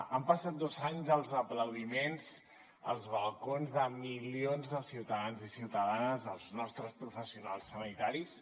han passat dos anys dels aplaudiments als balcons de milions de ciutadans i ciutadanes als nostres professionals sanitaris